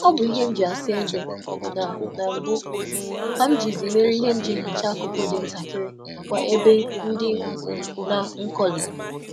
um A na m eji ahihia nji asa eze nke ochie emecha um ebe dị nta um na nkọ.